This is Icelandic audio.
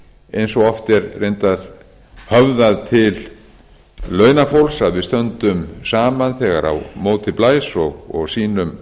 eins og oft er reyndar höfðað til launafólks að við stöndum saman þegar á móti blæs og sýnum